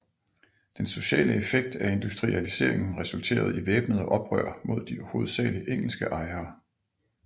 Den sociale effekt af industrialiseringen resulterede i væbnede oprør mod de hovedsageligt engelske ejere